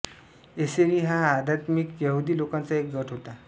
एसेनी हा आधात्मिक यहुदी लोकांचा एक गट होता